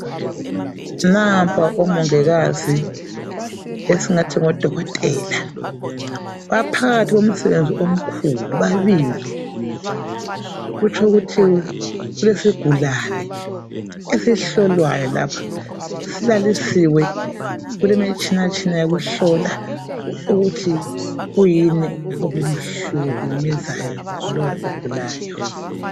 Nampa omongikazi esingathi ngodokotela, baphakathi komsebenzi omkhulu babili kutsho ukuthi kulesigulane esihlolwayo lapha, silalisiwe kulemitshinatshina yokuhlola ukuthi kuyini okumhlukumezayo lowo ogulayo.